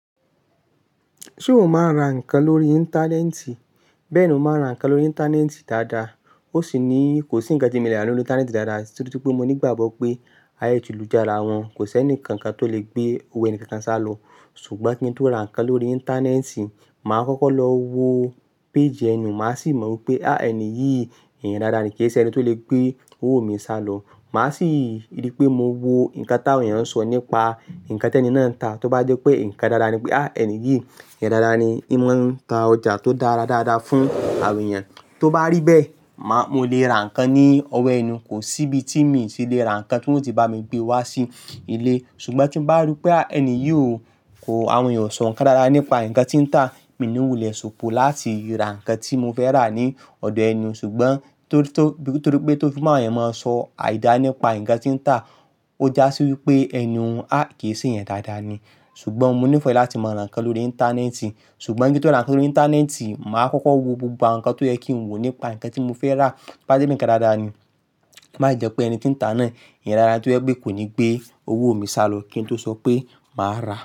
Ṣé o máa ń ra nǹkan lórí íńtánẹ́ẹ̀tì? Bẹ́ẹ̀ ni mo máa ń ra nǹkan lórí íńtánẹ́ẹ̀tì dáadáa. Ó sì ní kò sí ǹkan tí mo le rí lórí íńtánẹ́ẹ̀tì dáadáa torí pé mo ní ìgbàgbọ́ pé ayé ti lù jà ara wọn. Kò sí ẹnìkankan tó lè gbé owó ẹni kankan sálọ. Ṣùgbọ́n kí n tó ra nǹkan lórí íńtánẹ́ẹ̀tì, màá kọ́kọ́ lọ wo péèjì ẹni, màá sì mọ wípé á ẹni yìí èyàn dáadáa ni kì í ṣe ẹni tó lè gbé owó mi sálọ. Màá sì rí pé mo wo nǹkan táwọn èèyàn ń sọ nípa nǹkan tí ẹni náà ń tà. Tó bá jẹ́ pé nǹkan dáadáa ni pé á ẹni yìí èyàn dáadáa ni, in mo ń tà ọjà tó dára dáadáa fún àwọn èèyàn. Tó bá rí bẹ́ẹ̀, màá, mo lè ra nǹkan ní ọ̀wọ́ ẹni, kò sí ibi tí mi sì le ra nǹkan tí wọ́n ó ti bá mi gbé wá sí ilé. Ṣùgbọ́n tí n bá rí pé a ẹni yìí o, ko, àwọn èèyàn o sọ nǹkan dára nípa nǹkan tí ń tà, mi ní wulẹ̀ ṣòpò láti ra nǹkan tí mo fẹ́ rà ní ọ̀dọ̀ ẹni. Ṣùgbọ́n, torí tó bi ìtorí pé tó fi máa ẹ máa sọ àìda nípa nǹkan tí ń tà ó jásí wípé ẹniwọn a kì ṣe èèyàn dáadáa ni ṣùgbọ́n mo nífẹ̀ẹ́ láti máa ra nǹkan lórí íńtánẹ́ẹ̀tì. Ṣùgbọ́n kí n tó ra nǹkan lórí íńtánẹ́ẹ̀tì, màá kọ́kọ́ wo gbogbo àwọn nǹkan tó yẹ kí n wò nípa nǹkan tí mo fẹ́ rà. Bá jẹ́ pé nǹkan dáadáa ni, má i jẹ́ pé ẹni tí ń tà náà èèyàn dáadáa tí ó yẹ pé kò ní gbé owó mi sálọ kí n tó sọ pé màá ra.